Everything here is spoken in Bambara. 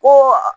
Ko